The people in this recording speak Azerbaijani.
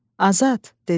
Azad, dedim.